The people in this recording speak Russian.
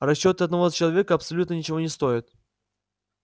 расчёты одного человека абсолютно ничего не стоят